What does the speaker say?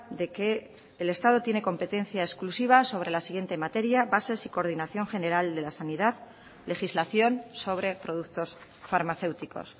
de que el estado tiene competencia exclusiva sobre la siguiente materia bases y coordinación general de la sanidad legislación sobre productos farmacéuticos